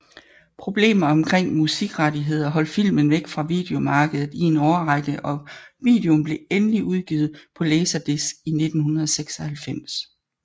Problemer omkring musikrettigheder holdt filmen væk fra videomarkedet i en årrække og videoen blev endelig udgivet på Laserdisc i 1996